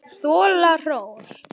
Þola hrós.